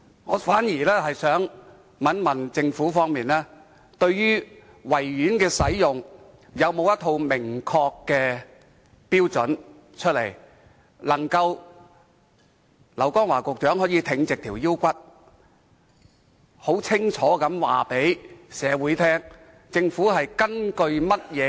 我反而想問，對於維園的使用，政府有否一套明確的標準，讓劉江華局長可以挺起胸膛，很清楚地告知市民？